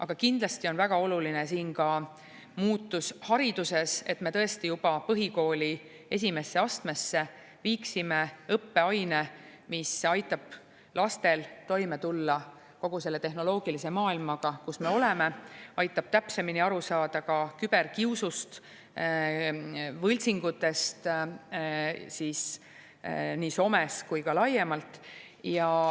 Aga kindlasti on väga oluline ka muutus hariduses, et me juba põhikooli esimesse astmesse viiksime õppeaine, mis aitab lastel toime tulla kogu selle tehnoloogilise maailmaga, kus me oleme, aitab täpsemini aru saada küberkiusust ja võltsingutest nii somes kui ka laiemalt.